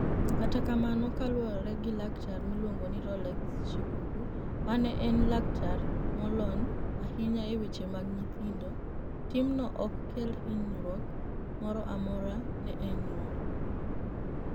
Kata kamano, kaluwore gi laktar miluonigo nii Rolex Shikuku, ma eni laktar moloniy ahiniya e weche mag niyithinido, timno ok kel hiniyruok moro amora ni e niyuol.